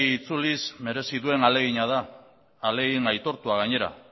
itzuliz merezi duen ahalegina da ahalegin aitortua gainera